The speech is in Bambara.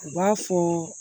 U b'a fɔ